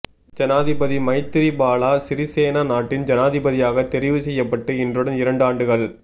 ஜனாதிபதி மைத்திரிபால சிறிசேன நாட்டின் ஜனாதிபதியாக தெரிவு செய்யப்பட்டு இன்றுடன் இரண்டு ஆண்டுகள்